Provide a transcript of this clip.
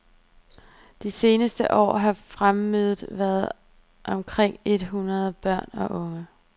De seneste år har fremmødet været omkring et hundrede børn og unge.